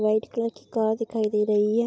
White colour की car दिखाई दे रही है।